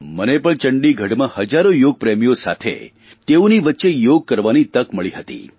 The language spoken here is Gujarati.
મને પણ ચંડીગઢમાં હજારો યોગપ્રેમીઓ સાથ તેઓની વચ્ચે યોગ કરવાની તક મળી હતી